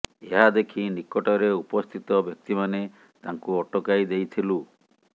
ଏହା ଦେଖି ନିକଟରେ ଉପସ୍ଥିତ ବ୍ୟକ୍ତିମାନେ ତାଙ୍କୁ ଅଟକାଇ ଦେଇଥିଲୁ